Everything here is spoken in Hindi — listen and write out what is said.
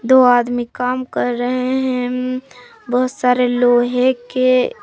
दो आदमी काम कर रहे हैं बहुत सारे लोहे के।